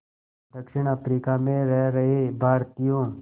दक्षिण अफ्रीका में रह रहे भारतीयों